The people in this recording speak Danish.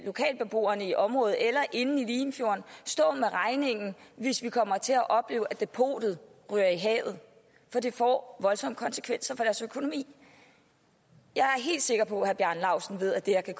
lokalbeboerne i området eller inde i limfjorden stå med regningen hvis vi kommer til at opleve at depotet ryger i havet for det får voldsomme konsekvenser for deres økonomi jeg er helt sikker på herre bjarne laustsen ved at det her kan